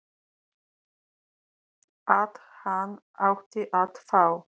að hann ætti að fá